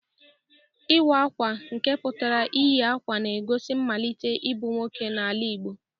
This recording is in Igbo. Iwa Akwa nke putara iyi akwa na-egosi nmalite ibu nwoke n'ala Igbo.